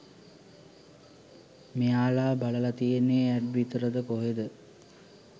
මෙයාලා බලල තියෙන්නෙ ඇඩ් විතරද කොහෙද